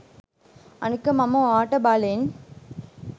අනික මම ඔයාට බලෙන්